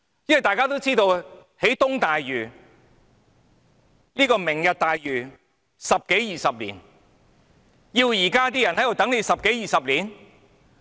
因為大家都知道，這項"明日大嶼願景"計劃需時十多二十年，難道要現在的人等十多二十年？